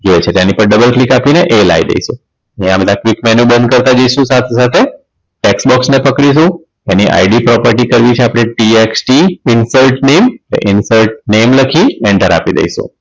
જોઈએ છે એટલે એની પર double click આપી એ લાવી દઈશું અને આ બધા click menu બંધ કરતા જઈએ શું સાથે સાથે tax box ને પકડીશું એની IDproperty છે tht insert link insert name લખી enter આપી દઈશું